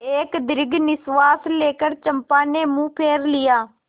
एक दीर्घ निश्वास लेकर चंपा ने मुँह फेर लिया